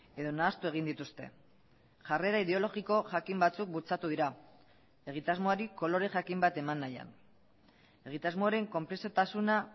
edo nahastu egin dituzte jarrera ideologiko jakin batzuk bultzatu dira egitasmoari kolore jakin bat eman nahian egitasmoaren konplexutasuna